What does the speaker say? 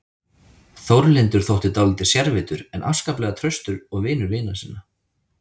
Þórlindur þótti dálítið sérvitur en afskaplega traustur og vinur vina sinna.